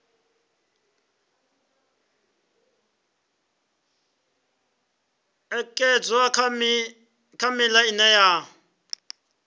ṅekedzwa kha miṱa ine ya